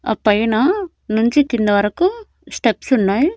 ఆ పైన నుంచి కింద వరకు స్టెప్స్ ఉన్నాయి.